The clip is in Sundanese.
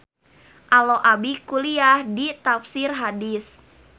Alo abi kuliah di Tafsir Hadis